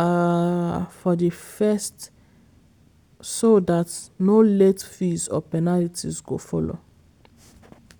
um for di first so dat no late fees or penalties go follow.